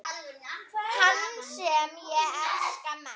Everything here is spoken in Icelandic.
Hann sem ég elskaði mest.